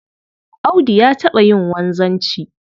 Audu ya taɓa yin wanzanci